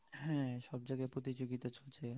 হ্যাঁ সব জায়গাতে প্রতিযোগিতা চলছে